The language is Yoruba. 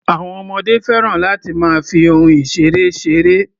Àwọn ọmọdé fẹ́ràn láti máa fi ohun ìṣeré ṣeré.